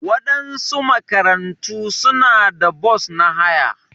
Waɗansu makarantu suna da bos na haya.